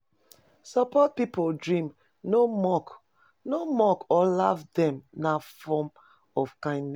Support pipo dream, no mock no mock or laugh dem na form of kindness.